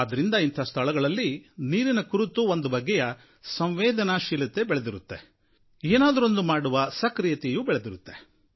ಆದ್ದರಿಂದ ಇಂಥ ಸ್ಥಳಗಳಲ್ಲಿ ನೀರಿನ ಕುರಿತು ಒಂದು ಬಗೆಯ ಸಂವೇದನಾಶೀಲತೆ ಬೆಳೆದಿರುತ್ತೆ ಏನಾದರೊಂದು ಮಾಡುವ ಸಕ್ರಿಯತೆಯೂ ಮೂಡಿರುತ್ತೆ